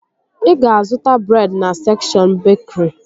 Ị ga-zụta breed na sekshọn bekri